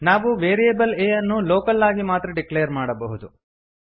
ನಾವು variable a ಯನ್ನು local ಆಗಿ ಮಾತ್ರ ಡಿಕ್ಲೇರ್ ಮಾಡಬಹುದು